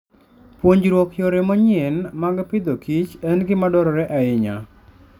Puonjruok yore manyien mag pidhokich en gima dwarore ahinya.